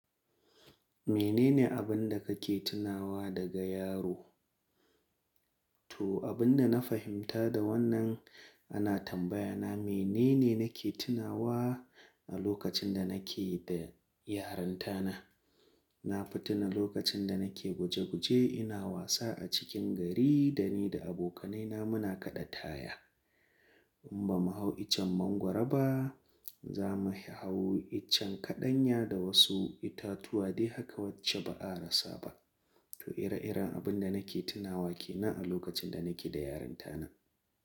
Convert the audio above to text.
Menene abin da kake tunawa daga yaro? To abin da na fahimta da wannan ana tambaya na, menene nake tunawa a lokacin da nake da yarinta na. Na fi tuna lokacin da nake guje guje ina wasa a cikin gari da ni da abokanai na muna kaɗa taya. In ba mu hau iccen mangwaro ba, za mu hau iccen kaɗanya da wasu itatuwa dai haka wacce ba a rasa ba. To ire-iren abin da nake tunawa ke nan a lokacin da nake da yarinta na.